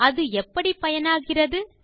அது எப்படி பயனாகிறது